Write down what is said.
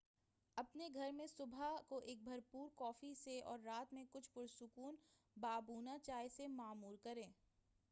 اپنے گھرمیں صبح کو ایک بھرپور کافی سے اور رات میں کُچھ پُرسکون بابونہ چائے سے معمور کریں